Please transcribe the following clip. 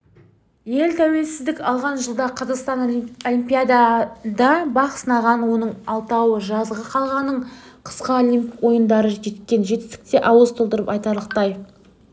ел тәуелсіздік алған жылда қазақстан олимпиадада бақ сынаған оның алтауы жазғы қалғаны қысқы олимп ойындары жеткен жетістік те ауыз толтырып айтарлықтай